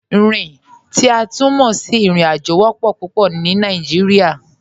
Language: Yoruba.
Rin, ti a tun mọ sí irin-ajo, wọ́pọ̀ pupọ̀ ni Nàìjíríà.